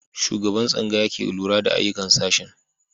Shugaban tsangaya ke lura da ayyukan sashen.